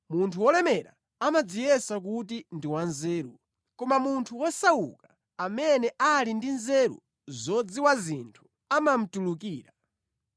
Munthu wolemera amadziyesa kuti ndi wanzeru, koma munthu wosauka amene ali ndi nzeru zodziwa zinthu amamutulukira.